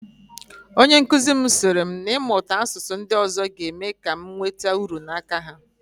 Onyenkụzi m sịrị na ịmụta asụsụ ndị ọzọ ga-eme ka anyị nweta uru n'aka ha